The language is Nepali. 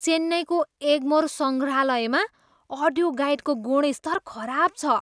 चेन्नईको एगमोर सङ्ग्रहालयमा अडियो गाइडको गुणस्तर खराब छ।